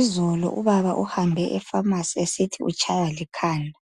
Izolo ubaba uhambe epharmacy esithi utshaywa likhanda.